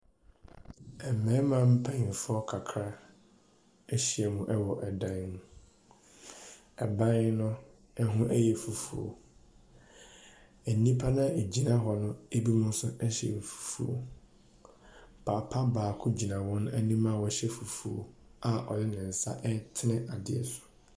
Mmarima mpanimfoɔ kakra ahyiam wɔ dan mu. Ɛdan no ho yɛ fufuo. Nnipa no a wɔgyina hɔ no binom nso hyɛ fufuo. Papa baako gyina wɔn anim a ɔhyɛ fufuo a ɔde ne nsa retene adeɛ so.